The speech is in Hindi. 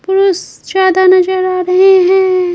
पुरुष ज्यादा नजर आ रहे हैं।